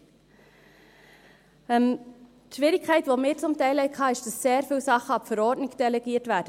Die Schwierigkeit, die wir teilweise hatten, ist, dass sehr viele Dinge an die Verordnung delegiert werden.